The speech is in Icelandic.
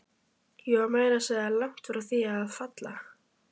Ég var meira að segja langt frá því að falla.